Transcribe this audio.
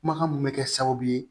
Kumakan mun bɛ kɛ sababu ye